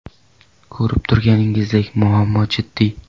Ko‘rib turganingizdek, muammo jiddiy.